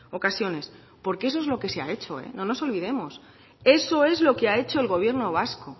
ocasiones porque eso es lo que se ha hecho no nos olvidemos eso es lo que ha hecho el gobierno vasco